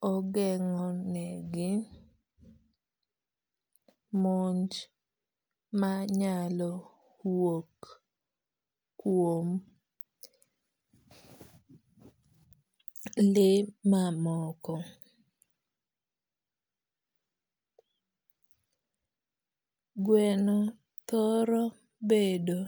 kogeng'o ne gi monj manyalo wuok kuom le mamoko. Gweno thoro bedo.